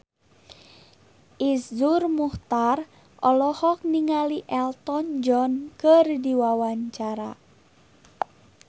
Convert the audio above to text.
Iszur Muchtar olohok ningali Elton John keur diwawancara